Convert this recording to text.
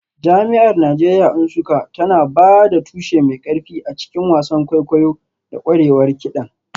Jami'ar Najeriya Nsukka tana ba da tushe mai ƙarfi a cikin wasan kwaikwayo da ƙwarewar kiɗan.